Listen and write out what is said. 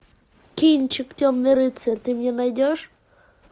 кинчик темный рыцарь ты мне найдешь